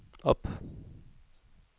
op